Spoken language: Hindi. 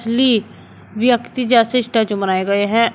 ली व्यक्ति जैसे स्टैचू बनाए गए हैं।